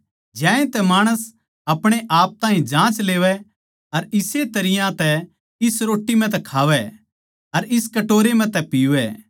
ज्यांतै माणस अपणे आप ताहीं जाँच लेवै अर इस्से तरियां तै इस रोट्टी म्ह तै खावै अर इस कटोरे म्ह तै पीवै